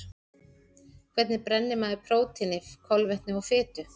Hvernig brennir maður prótíni, kolvetni og fitu?